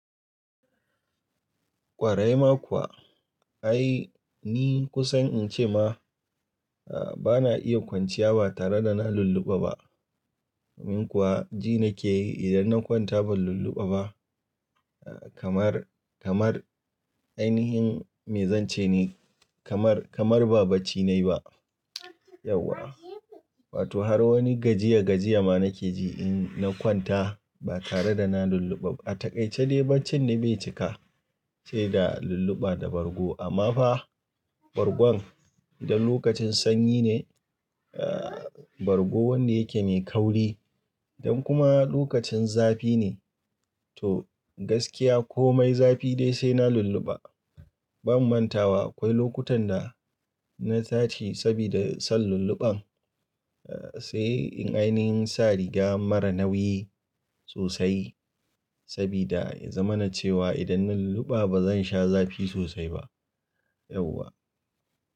Ƙwarai ma kuwa, ai ni kusan in ce ma, a bana iya kwanciya ba tare da na lulluɓa ba. Domin kuwa ji nake yi idan na kwanta ban lulluɓa ba, kamar, kamar ainihin me zan ce ne, kamar, kamar ba bacci nayi ba. Yauwa. Wato har wani gajiya gajiya ma nake ji in na kwanta ba tare da na lulluɓa ba. A takaice dai baccin na bai cika se da lulluɓa da bargo amma fa bargon don lokacin sanyi ne, aa bargo wanda yake mai kauri don kuma lokacin zafi ne. To gaskiya komai zafi dai sai na lulluɓa. Ban mantawa akwai lokutan da na taci sabida son lulluɓan. A sai in ainin sa riga mara nauyi sosai sabida ya zama na cewa idan na lulluɓa bazan sha zafi sosai ba. Yauwa.